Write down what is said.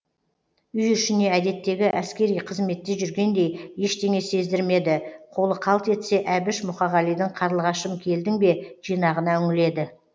үй ішіне әдеттегі әскери қызметте жүргендей ештеңе сездірмеді қолы қалт етсе әбіш мұқағалидың қарлығашым келдің бе жинағына үңіледі